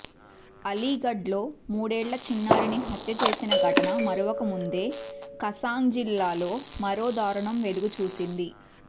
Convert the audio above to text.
అలీగఢ్లో మూడేళ్ల చిన్నారిని హత్య చేసిన ఘటన మరువకముందే కస్గాంజ్ జిల్లాలో మరో దారుణం వెలుగు చూసింది